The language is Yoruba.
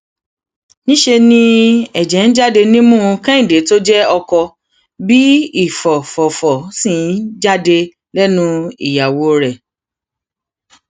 níṣẹ ni ẹjẹ ń jáde nímú kẹhìndé tó jẹ ọkọ bíi ìfọfọfọ ṣì ń jáde lẹnu ìyàwó rẹ